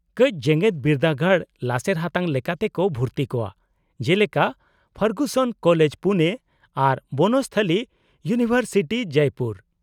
-ᱠᱟᱹᱪ ᱡᱮᱜᱮᱫ ᱵᱤᱨᱫᱟᱹᱜᱟᱲ ᱞᱟᱥᱮᱨ ᱦᱟᱛᱟᱝ ᱞᱮᱠᱟᱛᱮ ᱠᱚ ᱵᱷᱩᱨᱛᱤ ᱠᱚᱣᱟ , ᱡᱮᱞᱮᱠᱟ ᱯᱷᱟᱨᱜᱩᱥᱚᱱ ᱠᱳᱞᱮᱡ, ᱯᱩᱱᱮ ᱟᱨ ᱵᱚᱱᱚᱥᱛᱷᱟᱞᱤ ᱤᱭᱩᱱᱤᱵᱷᱟᱨᱥᱤᱴᱤ, ᱡᱚᱭᱯᱩᱨ ᱾